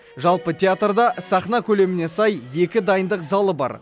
жалпы театрда сахна көлеміне сай екі дайындық залы бар